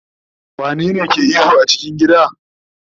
wane ne ke ihu a cikin gida?